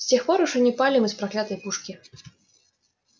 с тех пор уж и не палим из проклятой пушки